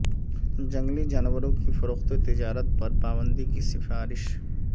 جنگلی جانوروں کی فروخت و تجارت پر پابندی کی سفارش